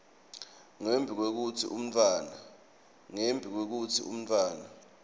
ngembi kwekutsi umntfwana